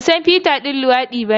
Ban san Peter ɗan luwadi bane.